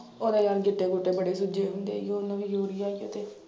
ਉਹ ਤਾਂ ਜਾਣੀ ਗਿੱਟੇ ਗੁਟੇ ਫੜੀ ਫਿਰਦੀ ਜੀਣ ਡਈ ਉਹਨੂੰ ਵੀ ਯੂਰੀਆ ਕਿਤੇ।